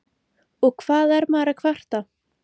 Og hvað er maður að kvarta?